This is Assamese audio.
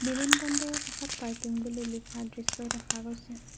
বিমান বন্দৰৰ কাষত পাৰ্কিং বুলি লিখা দৃশ্য দেখা গৈছে।